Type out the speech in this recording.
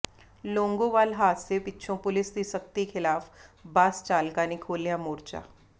ਲੌਂਗੋਵਾਲ ਹਾਦਸੇ ਪਿੱਛੋਂ ਪੁਲਿਸ ਦੀ ਸਖਤੀ ਖਿਲਾਫ ਬੱਸ ਚਾਲਕਾਂ ਨੇ ਖੋਲ੍ਹਿਆ ਮੋਰਚਾ